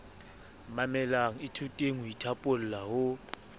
mamelang ithuteng ho ithaopola ho